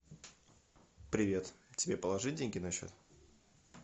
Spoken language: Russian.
привет тебе положить деньги на счет